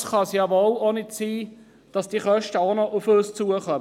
Es kann ja wohl nicht sein, dass diese Kosten auch noch auf uns zukommen!